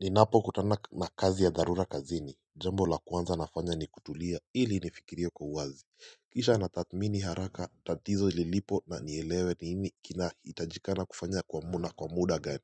Ninapokutana na kazi ya dharura kazini jambo la kwanza nafanya ni kutulia ili nifikirie kwa uwazi Kisha natathmini haraka tatizo lilipo na nielewe ni nini kinahitajikana kufanya kwa umuhimu kwa muda gani